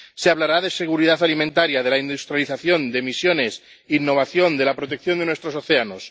Se hablará de seguridad alimentaria, de la industrialización, de emisiones, de innovación, de la protección de nuestros océanos...